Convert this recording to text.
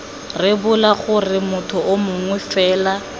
rebola gore motho mongwe fela